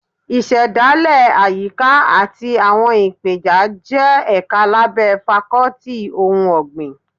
Ìṣẹ̀dálẹ̀ Àyíká àti àwọn ìpeja jẹ́ ẹ̀ka lábẹ́ Fákọ́tì ti ohun ọ̀gbìn